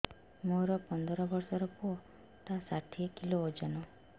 ମୋର ପନ୍ଦର ଵର୍ଷର ପୁଅ ଟା ଷାଠିଏ କିଲୋ ଅଜନ